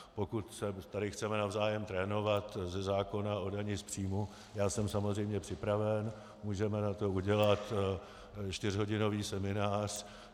Pokud se tady chceme navzájem trénovat ze zákona o dani z příjmů, já jsem samozřejmě připraven, můžeme na to udělat čtyřhodinový seminář.